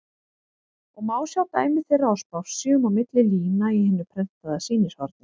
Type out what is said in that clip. og má sjá dæmi þeirra á spássíum og milli lína í hinu prentaða sýnishorni.